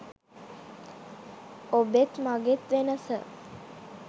ඔබෙත් මගෙත් වෙනස